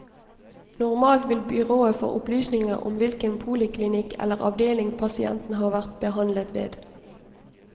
Normalt vil byrået få opplysninger om hvilken poliklinikk eller avdeling pasienten har vært behandlet ved.